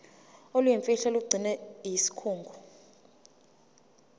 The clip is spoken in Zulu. oluyimfihlo olugcinwe yisikhungo